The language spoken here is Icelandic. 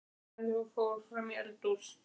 Vafði um sig handklæðinu og fór fram í eldhús.